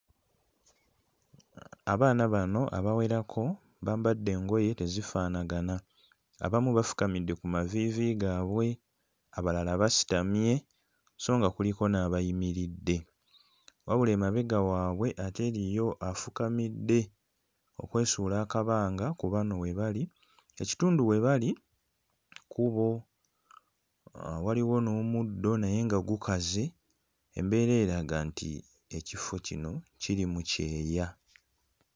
Abaana bano abawerako bambadde engoye tezifaanagana. Abamu bafukamidde ku maviivi gaabwe, abalala basitamye so nga kuliko n'abayimiridde wabula emabega waabwe ate eriyo afukamidde okwesuula akabanga ku bano we bali. Ekitundu we bali kkubo, waliwo n'omuddo naye nga gukaze. Embeera eraga nti ekifo kino kiri mu kyeya.